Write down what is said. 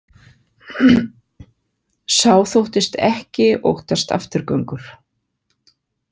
Sá þóttist ekki óttast afturgöngur.